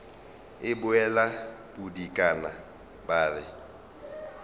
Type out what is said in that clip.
e bolla bodikana ba re